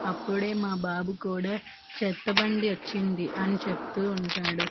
అప్పుడే మా బాబు కూడా చెత్త బండి వచ్చింది అని చెప్తూ ఉంటాడు.